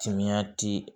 Timinan ti